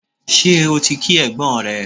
Ṣé o ti kí ẹ̀gbọ́n rẹ?